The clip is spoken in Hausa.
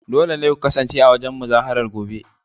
Dole ne ku kasance a wurin muzaharar gobe